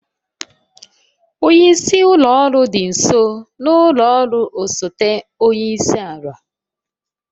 Onye isi ụlọ ọrụ dị nso n'ụlọ ọrụ osote onye isi ala.